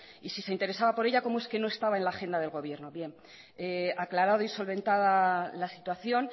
y si se interesaba por ella cómo es que no estaba en la agenda del gobierno aclarado y solventada la situación